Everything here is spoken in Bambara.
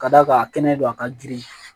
Ka d'a kan a kɛnɛ don a ka girin